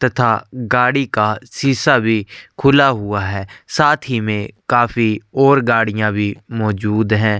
तथा गाड़ी का शीशा भी खुला हुआ है साथ ही में काफी और गाड़ियां भी मौजूद है।